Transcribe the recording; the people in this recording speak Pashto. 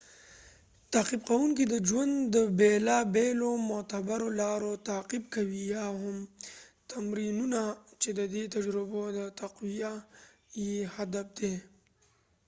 تعقیب کوونکې د ژوند د بیلا بیلو معتبرو لارو تعقیب کوي یا هم تمرینونه چې ددې تجربو د تقويه یې هدف دي